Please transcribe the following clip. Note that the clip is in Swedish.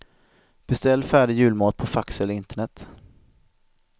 Beställ färdig julmat på fax eller internet.